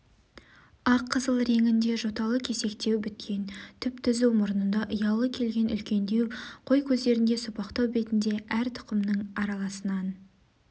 ақ қызғылт реңінде жоталы кесектеу біткен түп-түзу мұрнында ұялы келген үлкендеу қой көздерінде сопақтау бетінде әр түқымның араласынан